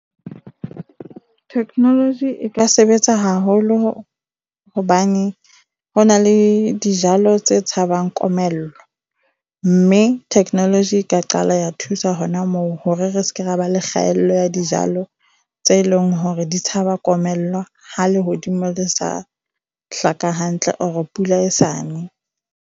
Technology e ka sebetsa haholo hobane ho na le dijalo tse tshabang komello, mme technology e ka qala ya thusa hona moo hore re seke ra ba le kgaello ya dijalo tse leng hore di tshaba komello ha lehodimo le sa hlaka hantle or pula e sa ne.